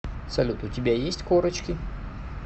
салют у тебя есть корочки